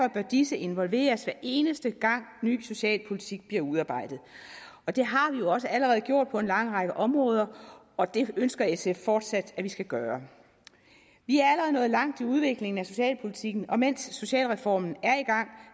disse involveres hver eneste gang ny socialpolitik bliver udarbejdet det har vi jo også allerede gjort på en lang række områder og det ønsker sf fortsat at vi skal gøre vi er allerede nået langt i udviklingen af socialpolitikken og mens socialreformen er i gang